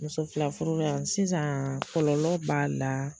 Muso fila furu la yan sisaan kɔlɔlɔ b'a la.